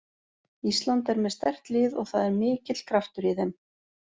Ísland er með sterkt lið og það er mikill kraftur í þeim.